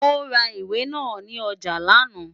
Ó ra ìwé náà ní ọjà lánàá.